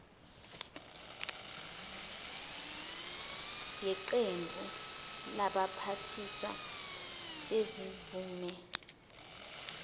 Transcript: yeqembu labaphathiswa bezimvume